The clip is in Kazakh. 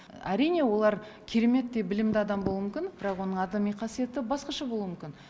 әрине олар кереметтей білімді адам болуы мүмкін бірақ оның адами қасиеті басқаша болуы мүмкін